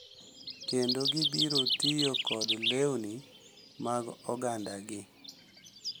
kendo gibiro tiyo kod lewni mag ogandagi,